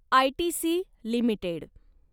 ITC limited